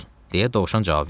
– deyə dovşan cavab verdi.